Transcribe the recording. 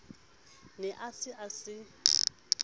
ne a se a se